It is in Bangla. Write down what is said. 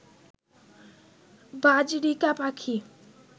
বাজরিকা পাখি